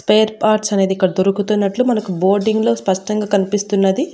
Spire parts అనేది ఇక్కడ దొరుకుతున్నట్లు మనకు బోర్డింగ్ లో స్పష్టంగా కనిపిస్తున్నది.